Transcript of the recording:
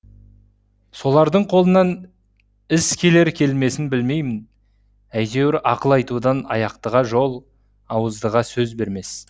солардың қолынан іс келер келмесін білмеймін әйтеуір ақыл айтудан аяқтыға жол ауыздыға сөз бермес